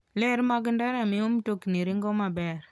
Ler mag ndara miyo mtokni ringo maber.